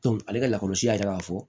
ale ka lakɔlɔsi y'a yira k'a fɔ